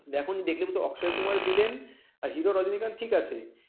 দেখলে কিন্তু অক্ষয় কুমার villain আর hero রজনীকান্ত ঠিক আছে